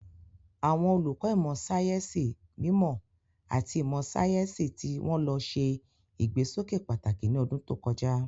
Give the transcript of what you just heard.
Àwọn olùkọ́ ìmọ̀ sáyẹ́sì mímọ́ àti ìmọ̀ sáyẹ́sì tí wọ́n lò ṣe ìgbésókè pàtàkì ní ọdún tó kọjá.